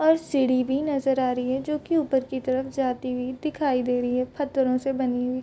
और सीढ़ी भी नजर आ रही है जो कि ऊपर की तरफ जाती हुई दिखाई दे रही है पत्थरों से बनी हुई।